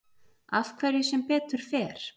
Af hverju sem betur fer?